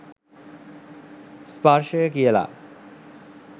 ස්පර්ශය කියල.